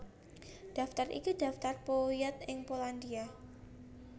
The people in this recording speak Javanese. Daftar iki daftar powiat ing Polandia